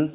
M M